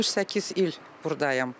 68 il burdayam.